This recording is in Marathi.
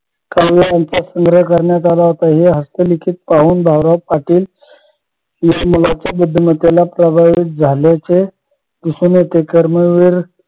काव्य यांचा संग्रह करण्यात आला होता हे हस्तलिखित पाहून भाऊराव पाटील या मुलाच्या बुद्धिमतेला प्रभावित झाल्याचे दिसून येते कर्मवीर